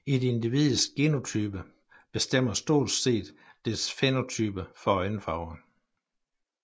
Et individs genotype bestemmer stort set dets fænotype for øjenfarve